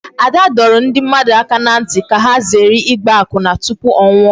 Ada dọrọ ndị mmadụ aka n'ntị ka ha zere ịgba akwụna tụpụ ọ nwụọ